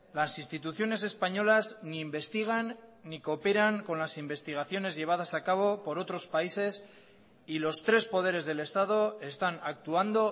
las instituciones españolas ni investigan ni cooperan con las investigaciones llevadas a cabo por otros países y los tres poderes del estado están actuando